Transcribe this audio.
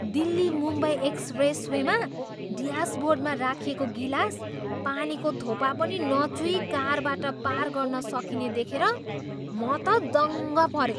दिल्ली मुम्बई एक्सप्रेसवेमा ड्यासबोर्डमा राखिएको गिलास पानीको थोपा पनि नचुही कारबाट पार गर्न सकिने देखेर म त दङ्ग परेँ।